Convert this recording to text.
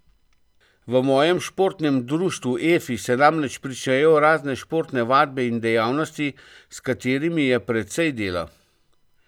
V mojem športnem društvu Efi se namreč pričnejo razne športne vadbe in dejavnosti, s katerimi je precej dela.